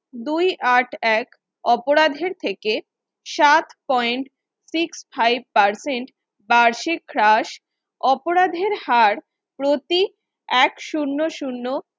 দুই আট এক অপরাধের থেকে সাত point six five percent বার্ষিক হ্রাস অপরাধের হার প্রতি এক শুন্য শুন্য